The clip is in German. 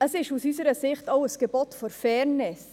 Es ist aus unserer Sicht auch ein Gebot der Fairness: